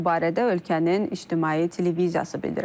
Bu barədə ölkənin ictimai televiziyası bildirib.